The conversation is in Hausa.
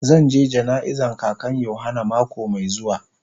Zan je jana'iza kakan yohana mako mai zuwa.